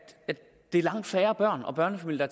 at det er langt færre børn og børnefamilier